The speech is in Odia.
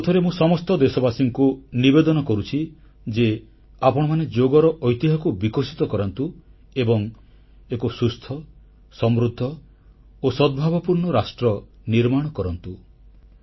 ଆଉଥରେ ମୁଁ ସମସ୍ତ ଦେଶବାସୀଙ୍କୁ ନିବେଦନ କରୁଛି ଯେ ଆପଣମାନେ ଯୋଗର ଐତିହ୍ୟକୁ ବିକଶିତ କରାନ୍ତୁ ଏବଂ ଏକ ସୁସ୍ଥ ସମୃଦ୍ଧ ଓ ସଦ୍ଭାବପୂର୍ଣ୍ଣ ରାଷ୍ଟ୍ର ନିର୍ମାଣ କରନ୍ତୁ